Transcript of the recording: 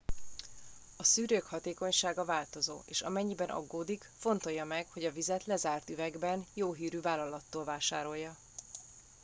a szűrők hatékonysága változó és amennyiben aggódik fontolja meg hogy a vizet lezárt üvegben jó hírű vállalattól vásárolja